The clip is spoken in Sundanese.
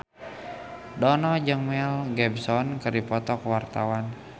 Dono jeung Mel Gibson keur dipoto ku wartawan